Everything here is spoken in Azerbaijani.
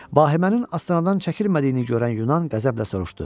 Bahimənin Astanadan çəkilmədiyini görən Yunan qəzəblə soruşdu: